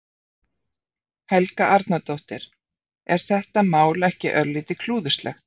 Helga Arnardóttir: Er þetta mál ekki örlítið klúðurslegt?